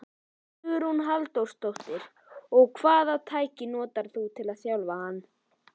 Hugrún Halldórsdóttir: Og hvaða tækni notarðu til að þjálfa hann?